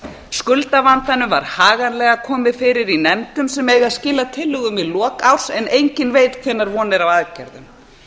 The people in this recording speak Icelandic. skuldavandanum var haganlega komið fyrir í nefndum sem eiga að skila tillögum í lok árs en enginn veit hvenær von er á aðgerðum